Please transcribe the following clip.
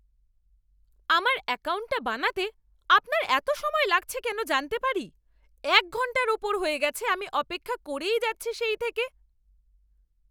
আমার অ্যাকাউন্টটা বানাতে আপনার এত সময় লাগছে কেন জানতে পারি? এক ঘণ্টার ওপর হয়ে গেছে আমি অপেক্ষা করেই যাচ্ছি সেই থেকে।